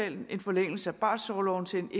en en forlængelse af barselorloven til en